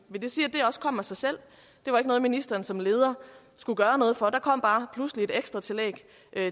også kom af sig selv det var ikke noget ministeren som leder skulle gøre noget for der kom bare pludselig et ekstra tillæg